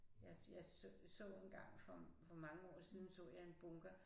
Jeg jeg så en gang for for mange år siden så jeg en bunker